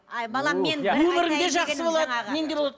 әй балам өмірің де жақсы болады